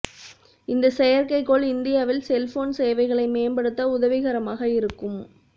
இந்த செயற்கைகோள் இந்தியாவில் செல்போன் சேவைகளை மேம்படுத்த உதவிகரமாக இருக்கும்